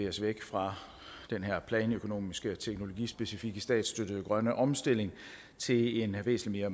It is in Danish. os væk fra den her planøkonomiske og teknologispecifikke statsstøttede grønne omstilling til en væsentlig